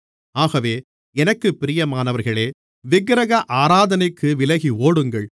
ஆகவே எனக்குப் பிரியமானவர்களே விக்கிரக ஆராதனைக்கு விலகி ஓடுங்கள்